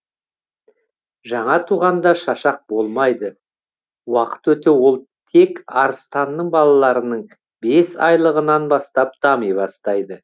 жаңа туғанда шашақ болмайды уақыт өте ол тек арыстанның балаларының бес айлылығынан бастап дами бастайды